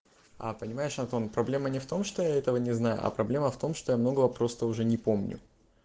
а понимаешь антон проблема не в том что я этого не знаю а проблема в том что я многого просто уже не помню